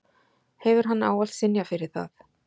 Hefur hann ávallt synjað fyrir það